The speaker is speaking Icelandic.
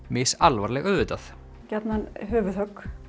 misalvarleg auðvitað gjarnan höfuðhögg